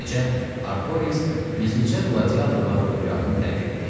Beləcə, Artoriks gizlicə qladiatorlar ordugahını tərk etdi.